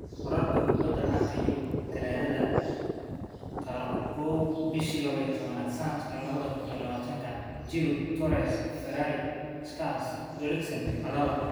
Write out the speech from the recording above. Warar Kubbada Cagta Yurub Talaado kowaad bishi lawa iyo tawan sanadka lawadha kun iyo lawatanka: Giroud, Torres, Ferrari, Schuurs, Eriksen, Alaba.